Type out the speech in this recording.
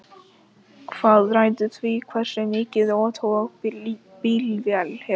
hvað ræður því hversu mikið tog bílvél hefur